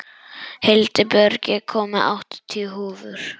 Hildibjörg, ég kom með áttatíu húfur!